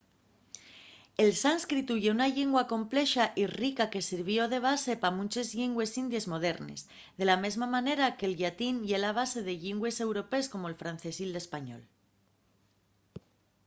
el sánscritu ye una llingua complexa y rica que sirvió de base pa munches llingües indies modernes de la mesma manera en que’l llatín ye la base de llingües europees como’l francés y l’español